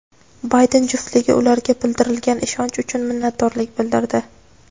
Bayden juftligi ularga bildirilgan ishonch uchun minnatdorlik bildirdi.